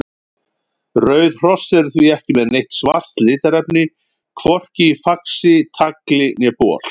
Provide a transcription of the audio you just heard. Rauð hross eru því ekki með neitt svart litarefni, hvorki í faxi, tagli né bol.